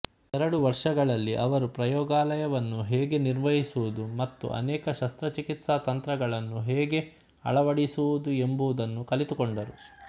ಎರಡು ವರ್ಷಗಳಲ್ಲಿ ಅವರು ಪ್ರಯೋಗಾಲಯವನ್ನು ಹೇಗೆ ನಿರ್ವಹಿಸುವುದು ಮತ್ತು ಅನೇಕ ಶಸ್ತ್ರಚಿಕಿತ್ಸಾ ತಂತ್ರಗಳನ್ನು ಹೇಗೆ ಅಳವಡಿಸುವುದು ಎಂಬುದನ್ನು ಕಲಿತುಕೊಂಡರು